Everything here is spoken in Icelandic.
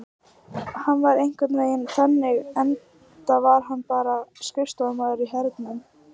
Hann er einhvern veginn þannig enda er hann bara skrifstofumaður í hernum.